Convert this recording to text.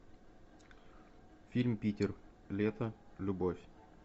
фильм питер лето любовь